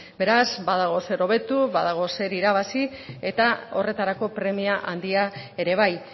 beraz badago zer hobetu badago zer irabazi eta horretarako premia handia ere bai